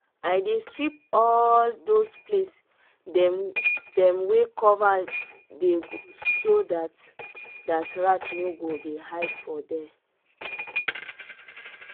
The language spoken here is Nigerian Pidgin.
i dey sweep all those place dem dem [?.] wey cover dey so that that rat no go dey hide for there.